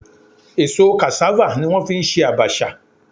Èso cassava ni wọ́n fi ń ṣe abacha